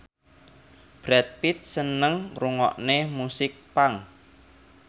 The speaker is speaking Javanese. Brad Pitt seneng ngrungokne musik punk